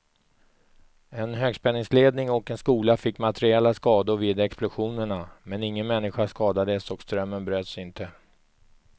En högspänningsledning och en skola fick materiella skador vid explosionerna, men ingen människa skadades och strömmen bröts inte.